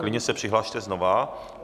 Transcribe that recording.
Klidně se přihlaste znovu.